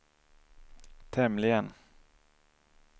tämligen